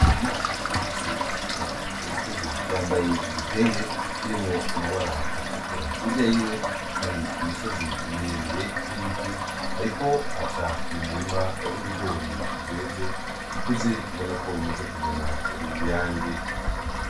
Ndikumana afise isuka k'urutugu, yambaye igitenge kirimwo amabara atukura, hirya yiwe hari imisozi miremire n'ibiti, ariko aca m'umurima w'ibigori vyeze bikuze ubonako bimaze kuzana uruyange.